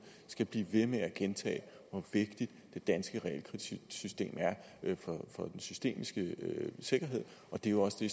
skal blive ved med at gentage hvor vigtigt det danske realkreditsystem er for den systemiske sikkerhed og det er jo også det